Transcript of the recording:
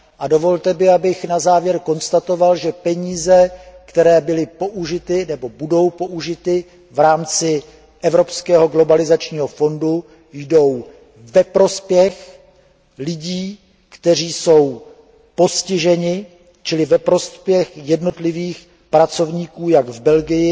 Dovolte mi, abych na závěr konstatoval, že peníze, které byly nebo budou použity v rámci Evropského fondu pro přizpůsobení se globalizaci jdou ve prospěch lidí, kteří jsou postiženi, čili ve prospěch jednotlivých pracovníků jak v Belgii,